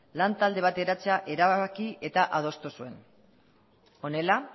lantalde bat eratzea erabaki eta adostu zuen honela